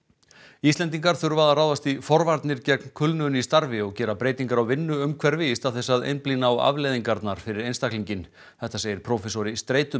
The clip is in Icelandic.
Íslendingar þurfa að ráðast í forvarnir gegn kulnun í starfi og gera breytingar á vinnuumhverfi í stað þess að einblína á afleiðingarnar fyrir einstaklinginn þetta segir prófessor í